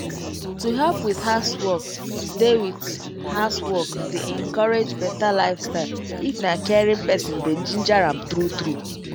to help with housework dey with housework dey encourage better lifestyle if na caring person dey ginger am true true